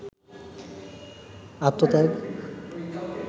আত্মত্যাগ